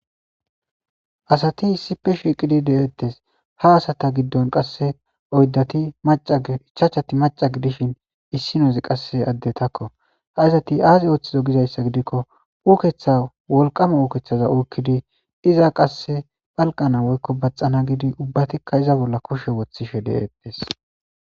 Asati issippe shiiqidi de'etees, ha asata giddoon qassi oydati macca ichachati macca gidishin, issinoozikka qassi addetakko. Azati azze oottiza ootiza gizayssa giidiko, uuketa wolkkama uuketa ukkidi iza qassi palqana woykk baathana gidi ubbatikka iza bollan kushsha wottishe deetes.